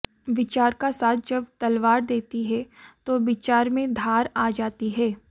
विचार का साथ जब तलवार देती है तो विचार में धार आ जाती है